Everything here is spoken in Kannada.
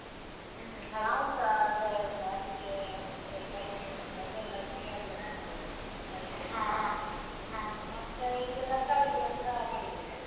ನಾವ್ಸ ಅಂದ್ರೆ ಎಂತ ಅಡಿಕೆ ಮತ್ತೆ ಕರಿಮೆಣಸು ಅದೆಲ್ಲ ಗಿಡ ಎಲ್ಲ ನಟ್ಟಿದ್ದೇವೆ ಅಡಿಕೆ ಗಿಡ ಮತ್ತೆ ಈಗ ತರ್ಕಾರಿ ಗಿಡಸ ಮಾಡಿದ್ದೇವೆ.